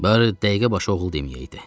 Barı dəqiqə başı oğul deməyəydi.